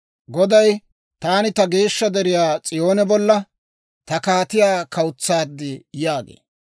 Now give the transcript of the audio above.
Goday, «Taan ta geeshsha deriyaa S'iyoone bolla ta kaatiyaa kawutsaad» yaagee.